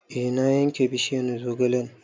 E na yanke bishiyar zogalen